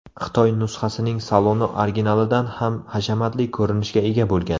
Xitoy nusxasining saloni originalidan ham hashamatli ko‘rinishga ega bo‘lgan.